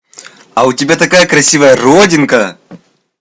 а у тебя такая красивая родинка